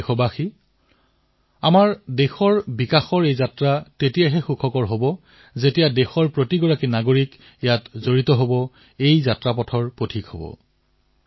মোৰ প্ৰিয় দেশবাসীসকল দেশ আজি যি বিকাশৰ পথত অগ্ৰসৰ হৈছে ইয়াৰ সফলতা সুখদায়ক তেতিয়াহে হব যেতিয়া প্ৰতিজন দেশবাসী ইয়াত চামিল হব এই যাত্ৰাৰ যাত্ৰী হব এই পথৰ পথিক হব